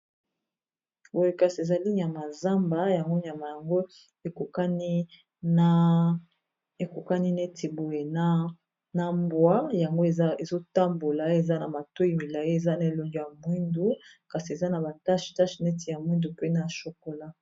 Boye kasi ezali nyama zamba yango nyama yango ekokani neti boye na mbwa yango ezotambola eza na matoyi milayi eza na elongi ya mwindu kasi eza na ba tache tache neti ya mwindu mpe na chokola.